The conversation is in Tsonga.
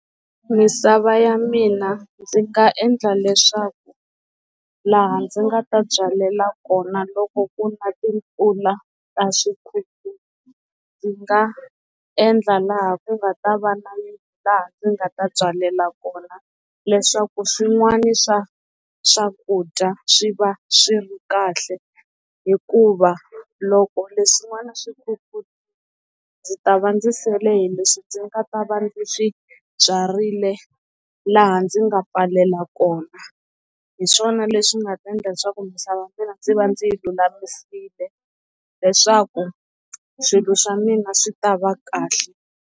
Misava ya mina ndzi nga endla leswaku laha ndzi nga ta byalela kona loko ku na timpfula ta swi kheti ndzi nga endla laha ku nga ta va na laha ndzi nga ta byalela kona leswaku swin'wana swa swakudya swi va swi ri kahle hikuva loko leswin'wana swi ndzi ta va ndzi seleni leswi ndzi nga ta va ndzi swibyarile laha ndzi nga pfalela kona hi swona leswi nga ta endla leswaku misava mina ndzi va ndzi lulamisiwile leswaku swilo swa mina swi ta va kahle.